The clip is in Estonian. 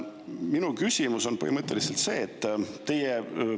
Minu küsimus on põhimõtteliselt järgmine.